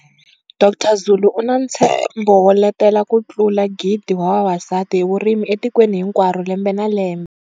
Dr Zulu u na ntshembo wo letela ku tlula 1 000 wa vavasati hi vurimi etikweni hinkwaro lembe na lembe.